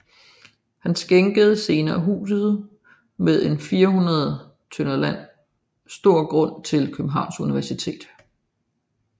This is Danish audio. Han skænkede senere huset med en 400 tdr land stor grund till Københavns Universitet